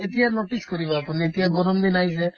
এতিয়া notice কৰিব আপুনি এতিয়া গৰম দিন আহিছে